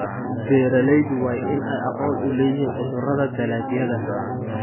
Beeraleydu waa inay aqoon u leeyihiin cudurrada dalagyada.